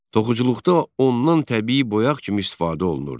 Toxuculuqda ondan təbii boyaq kimi istifadə olunurdu.